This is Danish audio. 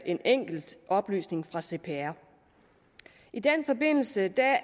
en enkelt oplysning fra cpr i den forbindelse